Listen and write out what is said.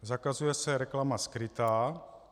Zakazuje se reklama skrytá.